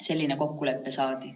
Selline kokkulepe saadi.